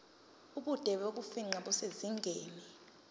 ubude bokufingqa kusezingeni